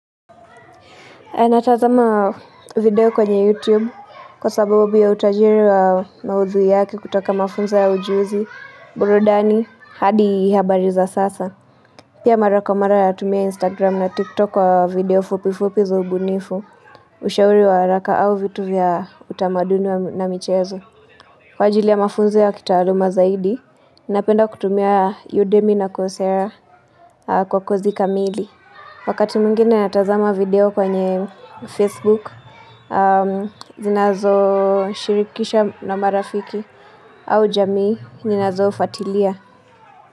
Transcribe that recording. Natazama video kwenye YouTube kwa sababu ya utajiri wa maudhui yake kutoka mafunzo ya ujuzi, burudani, hadi habari za sasa. Pia mara kwa mara natumia Instagram na TikTok wa video fupi fupi za ubunifu ushauri wa haraka au vitu vya utamaduni na michezo. Kwa ajili ya mafunzo ya kitaaluma zaidi, napenda kutumia Udemy na kocera kwa kazi kamili. Wakati mwingine natazama video kwenye Facebook, zinazoshirikisha na marafiki au jamii, ninazofuatilia.